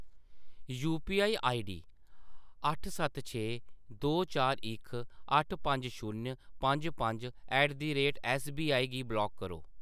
UPI ID अट्ठ सत्त छे दो चार इक अट्ठ पंज शून्य पंज पंज ऐट द रेट ऐस्सबीआई गी ब्लाक करो।